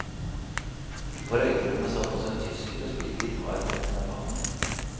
På røykerommet satt også en tysker og spilte gitar for noen japanere.